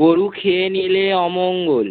গরু খেয়ে নিলে অমঙ্গল।